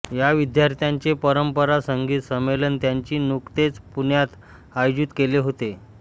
या विद्यार्थ्यांचे परंपरा संगीत संमेलन त्यांनी नुकतेच पुण्यात आयोजित केले होते